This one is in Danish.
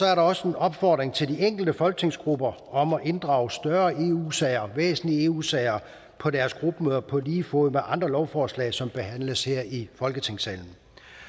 er der også en opfordring til de enkelte folketingsgrupper om at inddrage større eu sager og væsentlige eu sager på deres gruppemøder på lige fod med andre lovforslag som behandles her i folketingssalen